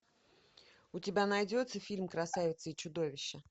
у тебя найдется фильм красавица и чудовище